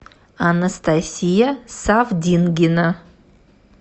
анастасия савдингина